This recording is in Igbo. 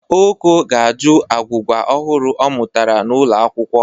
Oko ga-ajụ agwụgwa ọhụrụ ọ mụtara n'ụlọakwụkwọ.